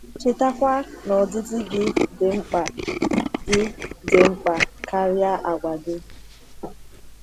Chetakwa na ọdịdị gị dị mkpa gị dị mkpa karịa àgwà gị.